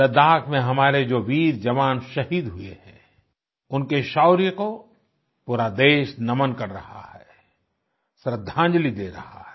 लद्दाख में हमारे जो वीर जवान शहीद हुए हैं उनके शौर्य को पूरा देश नमन कर रहा है श्रद्धांजलि दे रहा है